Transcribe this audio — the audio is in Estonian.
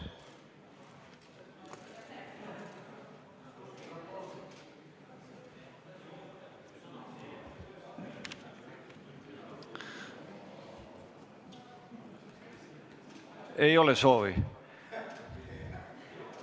Ei ole soovi?